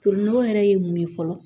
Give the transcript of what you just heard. Tolinɔgɔ yɛrɛ ye mun ye fɔlɔ